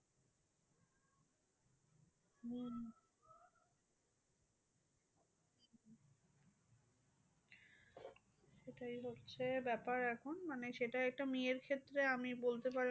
সেটাই হচ্ছে ব্যাপার এখন মানে সেটা একটা মেয়ের ক্ষেত্রে আমি বলতে পারেন,